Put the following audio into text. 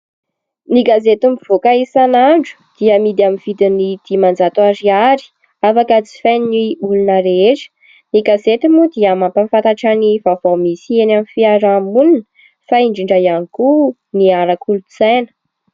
Ny gazety mivaoaka isan'andro dia amidy amin'ny vidiny dimanjato ariary, afaka jifain'ny olona rehetra. Ny gazety moa dia mampahafantatra ny vaovao misy eny amin'ny fiarahamonina fa indrindra ihany koa ny ara-kolotsaina.